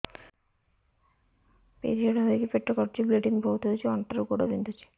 period ହୋଇକି ପେଟ କାଟୁଛି ବ୍ଲିଡ଼ିଙ୍ଗ ବହୁତ ହଉଚି ଅଣ୍ଟା ରୁ ଗୋଡ ବିନ୍ଧୁଛି